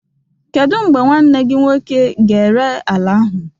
Kedu mgbe nwanne gị nwoke ga-ere ala ahụ?